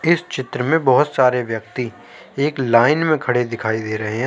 इस चित्र में बहोत सारे व्यक्ति एक लाइन में खड़े दिखाई दे रहें हैं।